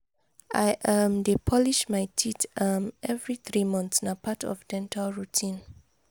i um dey polish my teeth um every three months na part of dental routine.